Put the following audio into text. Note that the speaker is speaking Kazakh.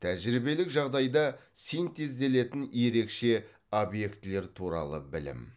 тәжірибелік жағдайда синтезделетін ерекше объектілер туралы білім